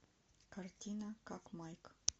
картина как майк